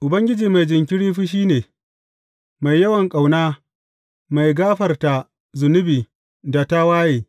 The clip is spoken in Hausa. Ubangiji mai jinkiri fushi ne, mai yawan ƙauna, mai gafarta zunubi da tawaye.